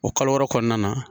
O kalo wɔɔrɔ kɔnɔna na